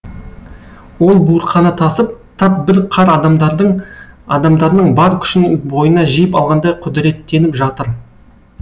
ол буырқана тасып тап бір қар адамдардың адамдарының бар күшін бойына жиып алғандай құдіреттеніп жатыр